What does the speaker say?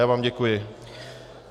Já vám děkuji.